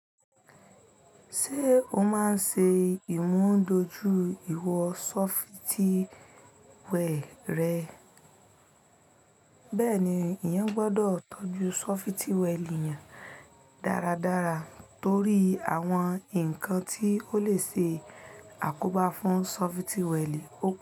Ṣé o máa ń ṣe ìmúdojú ìwọ̀nṣọfitíwẹ́ẹ̀rẹ́? Bẹ́ẹ̀ni, ìyẹn gbọ́dọ̀ tọ́jú ṣọfitíwẹ́ẹ̀lì yẹn dáradára torí àwọn nǹkan tí ó lè ṣe àkóbá fún ṣọfitíwẹ́ẹ̀lì ò pé.